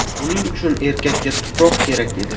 Buning uchun erkakka tuproq kerak edi.